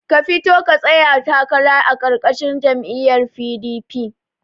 Ka fito ka tsaya takara a karkashin jam'iyar PDP